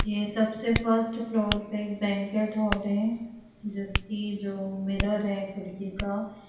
ये सबसे first floor पे बैंकुएट हॉल है जिसकी जो मिरर है खिड़की का --